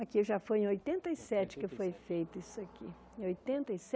Aqui já foi em oitenta e sete que foi feito isso aqui. Oitenta e